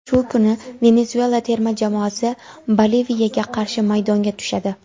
Shu kuni Venesuela terma jamoasi Boliviyaga qarshi maydonga tushadi.